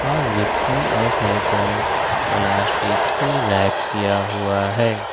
और रिक्से और साइकल को प्लास्टिक से रैप किया हुआ है।